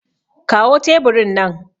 kawo teburin nan